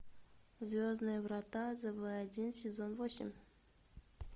звездные врата зв один сезон восемь